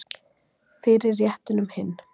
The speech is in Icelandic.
Fyrir réttinum hinn